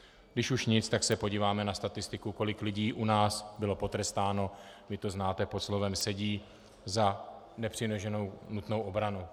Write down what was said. Když už nic, tak se podíváme na statistiku, kolik lidí u nás bylo potrestáno, vy to znáte pod slovem sedí za nepřiměřenou nutnou obranu.